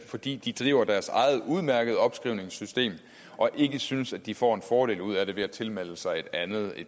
fordi de driver deres eget udmærkede opskrivningssystem og ikke synes de får en fordel ud af det ved at tilmelde sig et andet